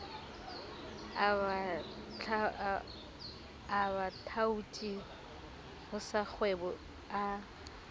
a bathaoti ho tsakgwebo a